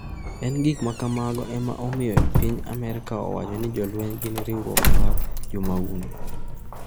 En gik ma kamago ema osemiyo piny Amerka owacho ni jolweny gin riwruok mar joterruok.